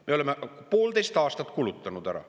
Me oleme poolteist aastat kulutanud ära.